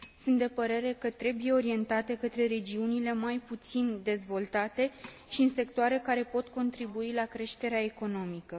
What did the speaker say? Sunt de părere că trebuie orientate către regiunile mai puțin dezvoltate și în sectoare care pot contribui la creșterea economică.